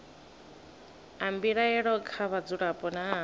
a mbilaelo kha vhadzulapo nna